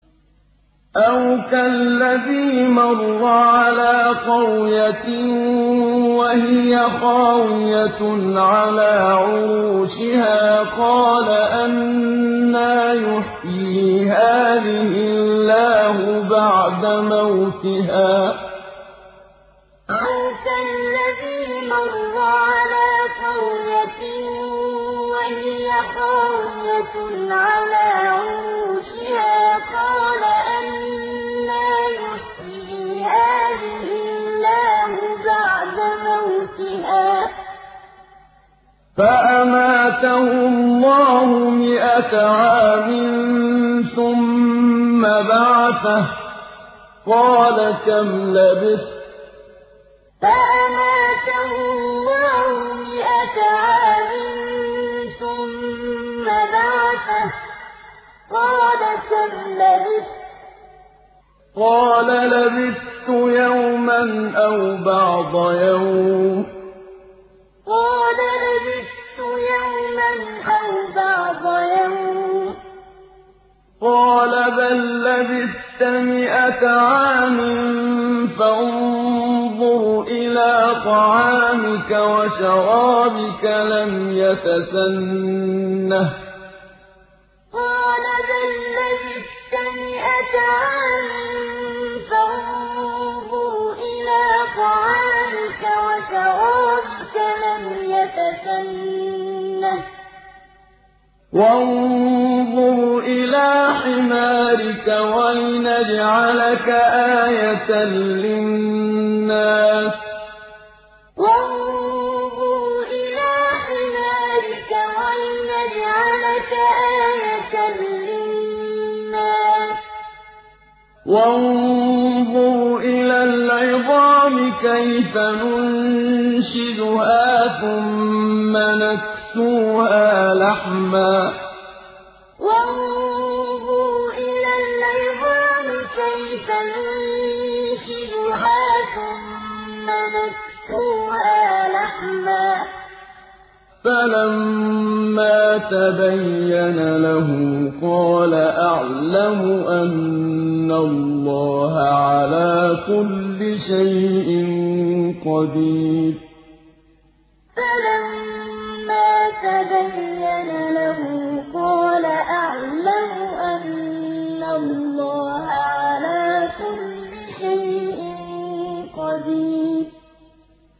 أَوْ كَالَّذِي مَرَّ عَلَىٰ قَرْيَةٍ وَهِيَ خَاوِيَةٌ عَلَىٰ عُرُوشِهَا قَالَ أَنَّىٰ يُحْيِي هَٰذِهِ اللَّهُ بَعْدَ مَوْتِهَا ۖ فَأَمَاتَهُ اللَّهُ مِائَةَ عَامٍ ثُمَّ بَعَثَهُ ۖ قَالَ كَمْ لَبِثْتَ ۖ قَالَ لَبِثْتُ يَوْمًا أَوْ بَعْضَ يَوْمٍ ۖ قَالَ بَل لَّبِثْتَ مِائَةَ عَامٍ فَانظُرْ إِلَىٰ طَعَامِكَ وَشَرَابِكَ لَمْ يَتَسَنَّهْ ۖ وَانظُرْ إِلَىٰ حِمَارِكَ وَلِنَجْعَلَكَ آيَةً لِّلنَّاسِ ۖ وَانظُرْ إِلَى الْعِظَامِ كَيْفَ نُنشِزُهَا ثُمَّ نَكْسُوهَا لَحْمًا ۚ فَلَمَّا تَبَيَّنَ لَهُ قَالَ أَعْلَمُ أَنَّ اللَّهَ عَلَىٰ كُلِّ شَيْءٍ قَدِيرٌ أَوْ كَالَّذِي مَرَّ عَلَىٰ قَرْيَةٍ وَهِيَ خَاوِيَةٌ عَلَىٰ عُرُوشِهَا قَالَ أَنَّىٰ يُحْيِي هَٰذِهِ اللَّهُ بَعْدَ مَوْتِهَا ۖ فَأَمَاتَهُ اللَّهُ مِائَةَ عَامٍ ثُمَّ بَعَثَهُ ۖ قَالَ كَمْ لَبِثْتَ ۖ قَالَ لَبِثْتُ يَوْمًا أَوْ بَعْضَ يَوْمٍ ۖ قَالَ بَل لَّبِثْتَ مِائَةَ عَامٍ فَانظُرْ إِلَىٰ طَعَامِكَ وَشَرَابِكَ لَمْ يَتَسَنَّهْ ۖ وَانظُرْ إِلَىٰ حِمَارِكَ وَلِنَجْعَلَكَ آيَةً لِّلنَّاسِ ۖ وَانظُرْ إِلَى الْعِظَامِ كَيْفَ نُنشِزُهَا ثُمَّ نَكْسُوهَا لَحْمًا ۚ فَلَمَّا تَبَيَّنَ لَهُ قَالَ أَعْلَمُ أَنَّ اللَّهَ عَلَىٰ كُلِّ شَيْءٍ قَدِيرٌ